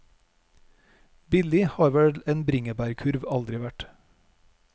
Billig har vel en bringebærkurv aldri vært.